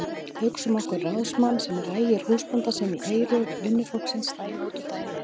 Hugsum okkur ráðsmann sem rægir húsbónda sinn í eyru vinnufólksins daginn út og daginn inn.